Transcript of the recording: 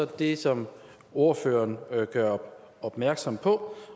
det som ordføreren gør opmærksom på